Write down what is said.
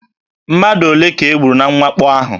Mmadụ ole ka e gburu na mwakpo ahụ?